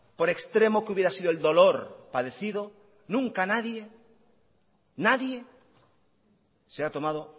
por extremo que hubiera sido el dolor padecido nunca nadie nadie se ha tomado